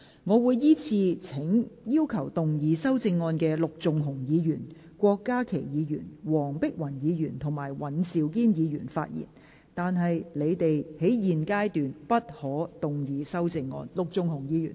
我會依次請要動議修正案的陸頌雄議員、郭家麒議員、黃碧雲議員及尹兆堅議員發言，但他們在現階段不可動議修正案。